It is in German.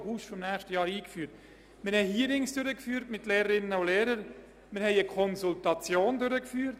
Dazu haben wir Hearings mit Lehrpersonen sowie eine Konsultation durchgeführt.